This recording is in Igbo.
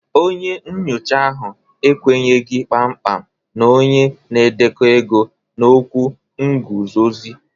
Onye nyocha ahụ ekwenyeghị kpamkpam na onye na-edekọ ego na okwu nguzozi